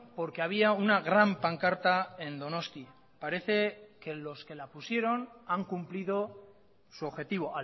porque había una gran pancarta en donostia parece que los que la pusieron han cumplido su objetivo